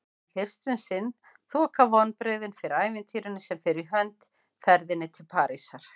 En fyrst um sinn þoka vonbrigðin fyrir ævintýrinu sem fer í hönd: ferðinni til Parísar.